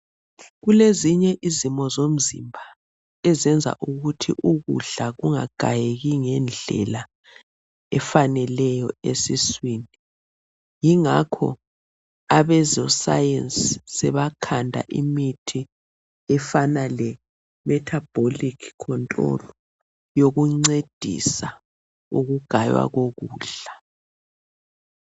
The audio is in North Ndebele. Kulezinye izimo zomzimba ezenza ukuthi ukudla kungagayeki ngendlela efaneleyo esiswini. Yingakho abeze science sebakhanda imithi efana le metabolic control eyokuncedisa ukugaywa kokudla.